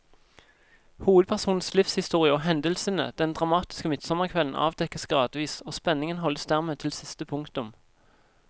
Hovedpersonens livshistorie og hendelsene den dramatiske midtsommerkvelden avdekkes gradvis, og spenningen holdes dermed til siste punktum.